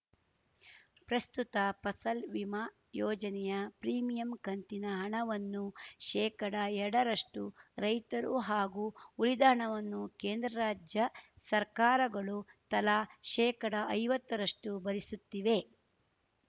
ಪ್ರಸ್ತುತ ಫಸಲ್‌ ವಿಮಾ ಯೋಜನೆಯ ಪ್ರೀಮಿಯಂ ಕಂತಿನ ಹಣವನ್ನು ಶೇಕಡಎರಡ ರಷ್ಟುರೈತರು ಹಾಗೂ ಉಳಿದ ಹಣವನ್ನು ಕೇಂದ್ರ ರಾಜ್ಯ ಸರ್ಕಾರಗಳು ತಲಾ ಶೇಕಡಐವತ್ತ ರಷ್ಟುಭರಿಸುತ್ತಿವೆ